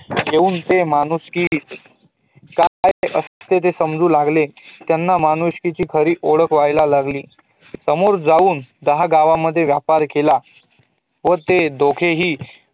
ठेऊन ते माणूसकी काय असते ते समजू लागले त्यांना माणुसकीची खरी ओळखं व्हायला लागली सामोरं जाऊन दहा गावा मध्येव्यापार केला व ते दोघेही